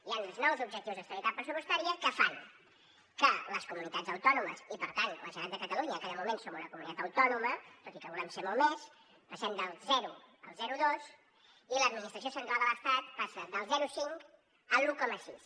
hi han uns nous objectius d’estabilitat pressupostària que fan que les comunitats autònomes i per tant la generalitat de catalunya que de moment som una comunitat autònoma tot i que volem ser molt més passem del zero al zero coma dos i l’administració central de l’estat passa del zero coma cinc a l’un coma sis